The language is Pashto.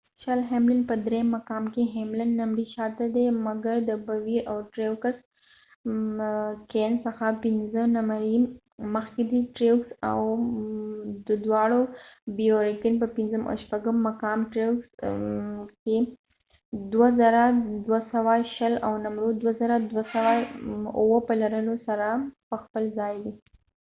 په درېم مقام کې ، هیملن hamlin شل نمری شاته دي ، مګر د بوير کېنbowyer kahneاو ټریوکس treuxڅخه پنځه نمری مخکې دي . دواړه بوير کېن bowyer kahne او ټریوکسtreux په پنځم او شپږم مقام کې 2,220 او نمرو 2,207 په لرلو سره په ځپل ځای دي